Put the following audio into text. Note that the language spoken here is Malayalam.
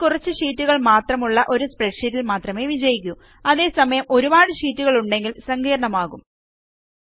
ഇത് കുറച്ച് ഷീറ്റുകൾ മാത്രമുള്ള ഒരു സ്പ്രെഡ്ഷീറ്റിൽ മാത്രമേ വിജയിക്കൂ അതേസമയം ഒരുപാട് ഷീറ്റുകളുണ്ടെങ്കിൽ സങ്കീർണ്ണമാകും